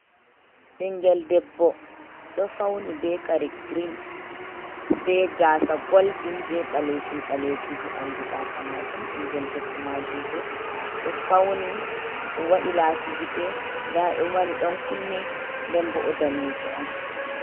Ɓinngel debbo ɗo fawni bee kare green bee gaasa goldin bee ɓaleejum-ɓaleejum haa ɓanndu gaasa maajum, binngel debbo maajum boo ɗo fawni waɗi laasi gite nda ɗo waɗi ɗon kunne nden boo o daneejo on